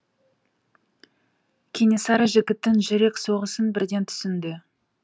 кенесары жігіттің жүрек соғысын бірден түсінді